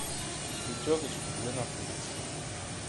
пятерочка где находится